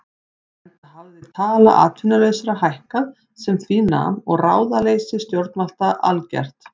Enda hafði tala atvinnulausra hækkað sem því nam og ráðaleysi stjórnvalda algert.